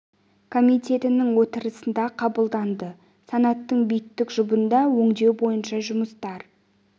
комитетінің отырысында қабылданды санаттың биттік жұбында өңдеу бойынша жұмыстар